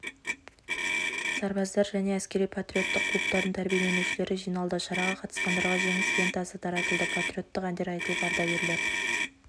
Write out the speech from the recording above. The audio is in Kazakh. сарбаздар және әскери-патриоттық клубтардың тәрбиеленушілері жиналды шараға қатысқандарға жеңіс лентасы таратылды патриоттық әндер айтылып ардагерлер